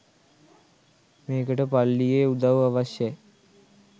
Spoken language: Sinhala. මේකට පල්ලියේ උදවු අවශ්‍යයි.